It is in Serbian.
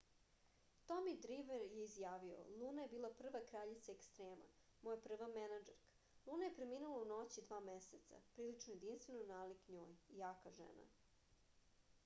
tomi drimer je izjavio luna je bila prva kraljica ekstrema moja prva menadžerka luna je preminula u noći dva meseca prilično jedinstveno nalik njoj jaka žena